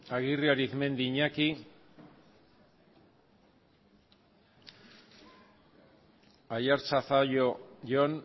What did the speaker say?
aguirre arizmendi iñaki aiartza zallo jon